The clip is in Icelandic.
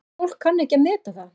En fólk kann ekki að meta það.